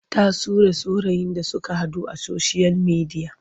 Ta sure saurayin da suka haɗu a soshiyal midiya.